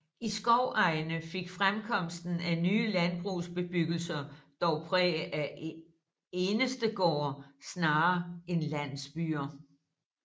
I skovegne fik fremkomsten af nye landbrugsbebyggelser dog præg af enestegårde snarere end landsbyer